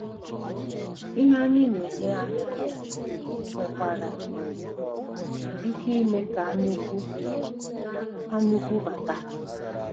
Ihe anyị na-enye anya nwekwara um ike ime ka anyaukwu anyaukwu bata.